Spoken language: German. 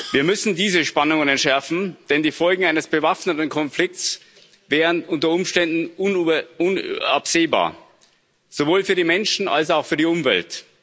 Wir müssen diese Spannungen entschärfen, denn die Folgen eines bewaffneten Konflikts wären unter Umständen unabsehbar, sowohl für die Menschen als auch für die Umwelt.